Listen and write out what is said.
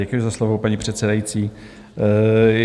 Děkuji za slovo, paní předsedající.